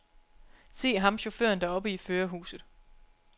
Se ham chaufføren deroppe i førerhuset.